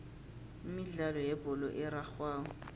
imidlalo yebholo erarhwako